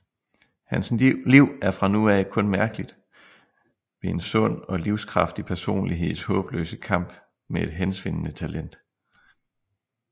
Hans liv er fra nu af kun mærkeligt ved en sund og livskraftig personligheds håbløse kamp med et hensvindende talent